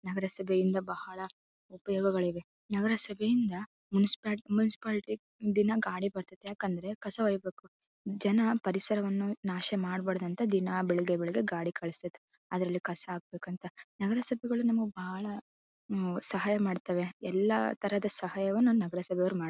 ನಗರಸಭೆಯಿಂದ ಬಹಳ ಉಪಯೋಗಗಳಿವೆ. ನಗರ ಸಭೆಯಿಂದ ಮುನಿಸಿಪಾಲಿಟಿ ಒಂದಿನ ಗಾಡಿ ಬರ್ತದೆ ಕಸ ಒಯ್ಯಾಕೆ. ಜನ ಪರಿಸರವನ್ನ ನಾಶ ಮಾಡಬಾರದು ಅಂತ ದಿನಾ ಬೆಳಿಗ್ಗೆ ಬೆಳಿಗ್ಗೆ ಗಾಡಿ ಕಳಿಸ್ತಾರೆ. ಅದರಲ್ಲಿ ಕಸ ಹಾಕ್ಬೇಕಂತ ನಗರಸಭೆಗಳು ನಮಗೆ ಬಾಳ ಸಹಾಯ ಮಾಡ್ತವೆ ಎಲ್ಲ ತರದ ಸಹಾಯವನ್ನು ನಮ್ಮ ಸಲುವಾಗಿ ಮಾಡ್ತವೆ.